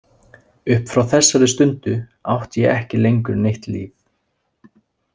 Upp frá þessari stundu átti ég ekki lengur neitt líf.